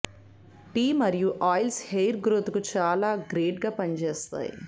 tea మరియు oils hair growth కు చాలా గ్రేట్ గా పనిచేస్తాయి